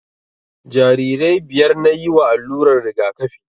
Jarirai biyar nayi wa allurar rigakafi